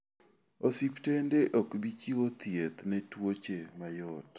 Osiptende ok bi chiwo thieth ne tuoche mayot.